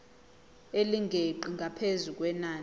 elingeqi ngaphezu kwenani